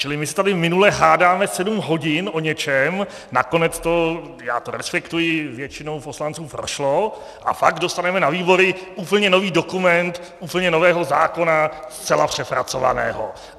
Čili my se tady minule hádáme sedm hodin o něčem, nakonec to, já to respektuji, většinou poslanců prošlo, a pak dostaneme na výbory úplně nový dokument úplně nového zákona, zcela přepracovaného.